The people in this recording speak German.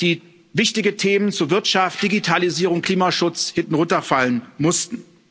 die wichtigen Themen zu Wirtschaft, Digitalisierung, Klimaschutz hinten runterfallen mussten.